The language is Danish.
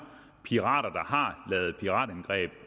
pirater der har lavet piratangreb